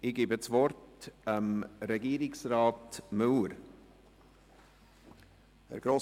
Ich erteile das Wort Herrn Regierungsrat Müller.